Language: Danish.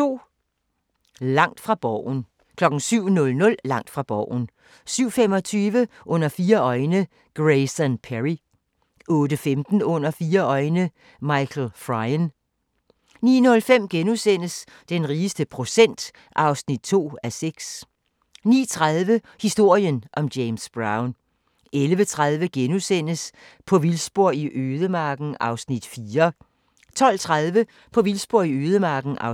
07:00: Langt fra Borgen 07:25: Under fire øjne – Grayson Perry 08:15: Under fire øjne – Michael Frayen 09:05: Den rigeste procent (2:6)* 09:30: Historien om James Brown 11:30: På vildspor i ødemarken (4:6)* 12:30: På vildspor i ødemarken (5:6)